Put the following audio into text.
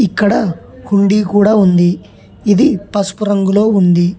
ఇక్కడ కుండీ కూడా ఉంది ఇది పసుపు రంగులో ఉంది.